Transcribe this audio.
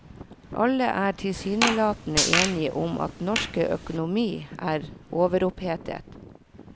Alle er tilsynelatende enige om at norsk økonomi er overopphetet.